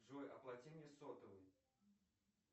джой оплати мне сотовый